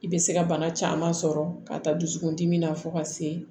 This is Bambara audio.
I bɛ se ka bana caman sɔrɔ ka taa dusukun dimi na fo ka se